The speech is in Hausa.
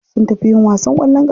Sun tafi yin wasan kwallon kafa.